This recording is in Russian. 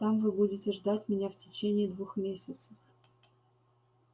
там вы будете ждать меня в течение двух месяцев